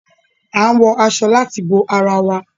A n wọ aṣọ láti bo àrà wà